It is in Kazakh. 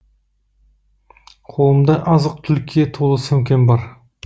қолымда азық түлікке толы сөмкем бар